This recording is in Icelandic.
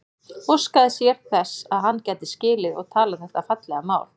Óskaði sér þess að hann gæti skilið og talað þetta fallega mál.